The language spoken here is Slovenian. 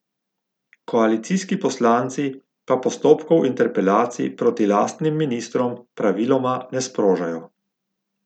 Koalicijski poslanci pa postopkov interpelacij proti lastnim ministrom praviloma ne sprožajo.